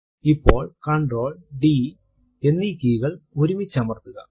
ഇപ്പോൾ CtrlD key കൾ ഒരുമിച്ചമർത്തുക